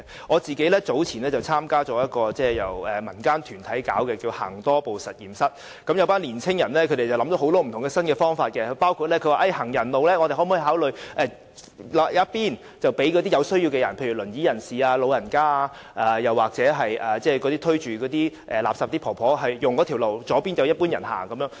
我個人早前參加了一個由民間團體舉辦的活動，名為"行多步實驗室"，有群青年人想了很多不同的新方法，包括我們可否考慮劃分行人路，右方讓有需要的人士使用，例如坐輪椅的人士、長者或推垃圾車的長者，左方則讓一般人行走？